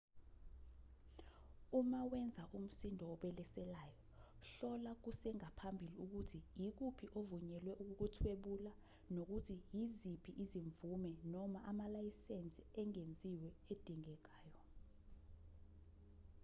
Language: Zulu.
uma wenza umsindo obeleselayo hlola kusengaphambili ukuthi ikuphi ovunyelwe ukukuthwebula nokuthi yiziphi izimvume noma amalayisensi engeziwe edingekayo